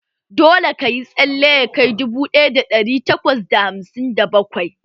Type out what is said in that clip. Dole ka yi tsalle ya kai dubu ɗaya da ɗari takwas da hamsin da bakwai!